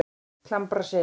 Klambraseli